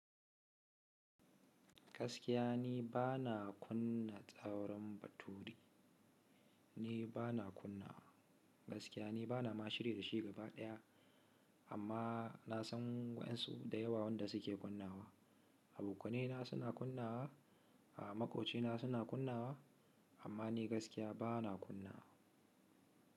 Gaskiya ni ba na kunna tsauron battle, ni ba na kunnawa. Gaskiya ni ba na ma shiri da shi gaba ɗaya, amma na san wa'yansu da yawa wanda suke kunna wa. Abokanaina suna kunna wa, a makocina suna kunna wa, amma ni gaskiya ba na kunna wa.